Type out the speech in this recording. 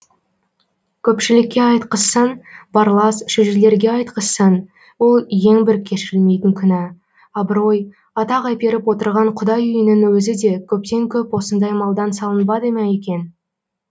көпшілікке айтқызсаң барлас шөжелерге айтқызсаң ол ең бір кешірілмейтін күнә абырой атақ әперіп отырған құдай үйінің өзі де көптен көп осындай малдан салынбады ма екен